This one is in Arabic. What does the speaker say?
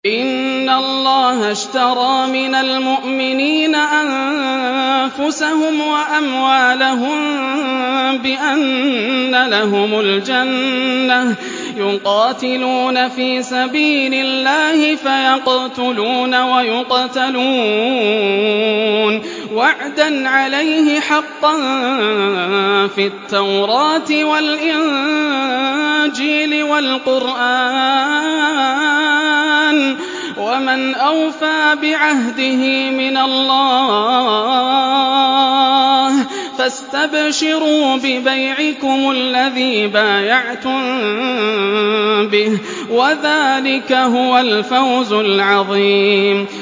۞ إِنَّ اللَّهَ اشْتَرَىٰ مِنَ الْمُؤْمِنِينَ أَنفُسَهُمْ وَأَمْوَالَهُم بِأَنَّ لَهُمُ الْجَنَّةَ ۚ يُقَاتِلُونَ فِي سَبِيلِ اللَّهِ فَيَقْتُلُونَ وَيُقْتَلُونَ ۖ وَعْدًا عَلَيْهِ حَقًّا فِي التَّوْرَاةِ وَالْإِنجِيلِ وَالْقُرْآنِ ۚ وَمَنْ أَوْفَىٰ بِعَهْدِهِ مِنَ اللَّهِ ۚ فَاسْتَبْشِرُوا بِبَيْعِكُمُ الَّذِي بَايَعْتُم بِهِ ۚ وَذَٰلِكَ هُوَ الْفَوْزُ الْعَظِيمُ